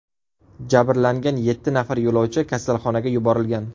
Jabrlangan yetti nafar yo‘lovchi kasalxonaga yuborilgan.